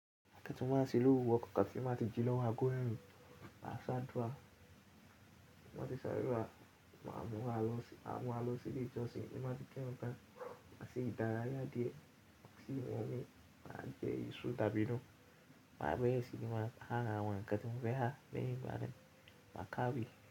Ǹkan tí mo ma ṣe lówúrọ̀ kokan tí má ti jí lọ́wọ́ agó mẹ́rin ma sáàdúrà. Tí nbá ti ṣe àdúrà ma múra lọsí ma múra lọsí ilé ìjọsìn tí ma ti kírun tán masi dára yá díẹ̀ sí inumi ma jẹ èso dàbínú ma bẹ̀rẹ̀ sí ma aa àwọn ǹkan tí mo fẹ́ aa lẹ́yìn na ma ka ìwé.